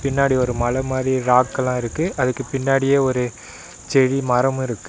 பின்னாடி ஒரு மல மாரி ராக்கெல்லா இருக்கு அதுக்கு பின்னாடியே ஒரு செடி மரமு இருக்கு.